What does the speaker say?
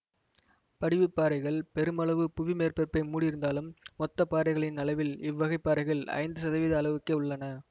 படிவுப் பாறைகள் பெருமளவு புவி மேற்பரப்பை மூடியிருந்தாலும் மொத்த பாறைகளின் அளவில் இவ் வகைப் பாறைகள் ஐந்து சதவீத அளவுக்கே உள்ளன